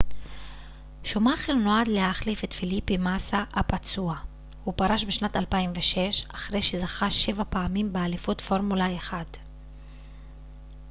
שומאכר נועד להחליף את פליפה מאסה הפצוע הוא פרש בשנת 2006 אחרי שזכה שבע פעמים באליפות פורמולה 1